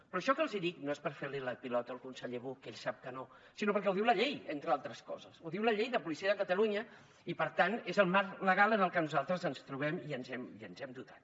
però això que els dic no és per fer li la pilota al conseller buch que ell sap que no sinó perquè ho diu la llei entre altres coses ho diu la llei de policia de catalunya i per tant és el marc legal en el que nosaltres ens trobem i ens hem dotat